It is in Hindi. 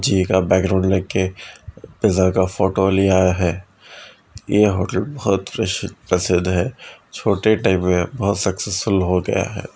जिकरा बैकग्राउंड लेके पिज़्ज़ा का फोटो लिया है| ये होटल बहुत प्र प्रसिद्ध है| छोटे टाइम में बहुत सक्सेसफुल हो गया है|